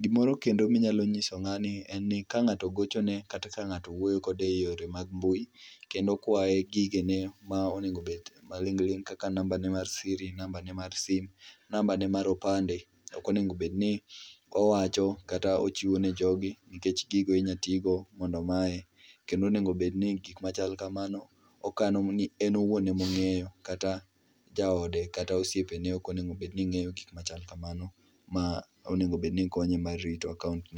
Gimoro kendo minyalo nyiso ngani en ni kangato ogochone kata kangato wuoyo kode eyore mag mbui kendo kwaye gigene ma onego obed maling ling kaka nambane mar siri gi nambane mar sim gi nambane mar opande, ok onego obed ni owacho kata ochiwo ne jogi nikech gigo inya tigo mondo omaye kendo onego oobedni gik machal kamano okano ni en owuon ema ongeyo kata jaode, kata osiepene ok onego obedni ongeyo gik machal kamano ma onego obedni konye mar rito akaunt ne